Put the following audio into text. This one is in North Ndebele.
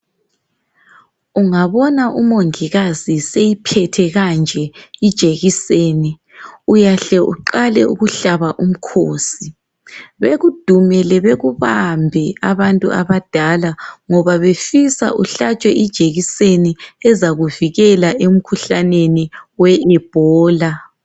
Ungabona umongikazi eseyiphethe kanje ijekiseni. Uyahle uhlabe umkhosi. Bakudumele, bakubambe abantu abadala, ngoba befisa uhlabe ijekiseni ezakuvikela kumkhuhlane we lbola.